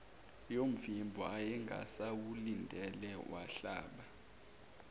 yomvimbo ayengasawulindele wahlaba